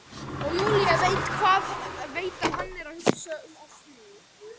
Og Júlía veit að hann er að hugsa um Ástríði.